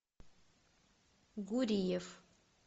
гуриев